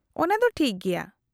-ᱚᱱᱟᱫᱚ ᱴᱷᱤᱠ ᱜᱮᱭᱟ ᱾